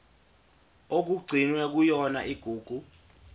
okugcinwe kuyona igugu